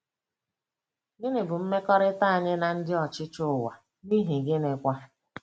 Gịnị bụ mmekọrịta anyị na ndị ọchịchị ụwa, n’ihi gịnịkwa?